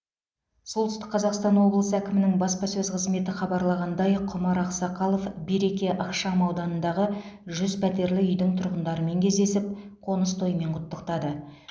солтүстік қазақстан облысы әкімінің баспасөз қызметі хабарлағандай құмар ақсақалов береке ықшамауданындағы жүз пәтерлі үйдің тұрғындарымен кездесіп қоныс тоймен құттықтады